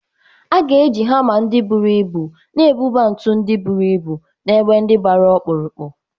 A ga-eji hama ndị buru ibu na-ebuba ntu ndị buru ibu n'ebe ndị gbara ọkpụrụkpụ